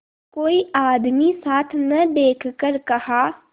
कोई आदमी साथ न देखकर कहा